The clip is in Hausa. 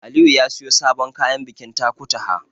Aliyu ya siyo sabon kayan bikin Takutaha.